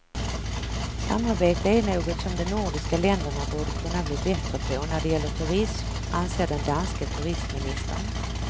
Samarbete är något som de nordiska länderna borde kunna bli bättre på när det gäller turism, anser den danske turistministern.